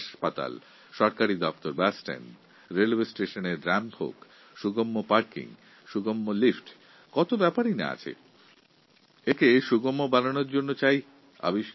হতে পারে বিদ্যালয় হাসপাতাল সরকারি অফিস বা বাস টার্মিনাস রেল স্টেশনে ঢালু পথ বা র্যা্ম্প সহজগম্য পার্কিং ও লিফ্টের ব্যবস্থা ব্রেইল লিপি ইত্যাদি অনেক জিনিসের আমাদের প্রয়োজন